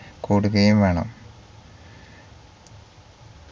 കൂടുകയും വേണ